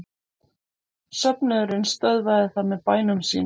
Söfnuðurinn stöðvað það með bænum sínum.